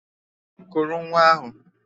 Kuru nwa ahụ!